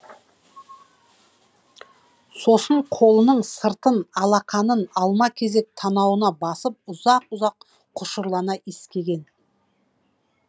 сосын қолының сыртын алақанын алма кезек танауына басып ұзақ ұзақ құшырлана иіскеген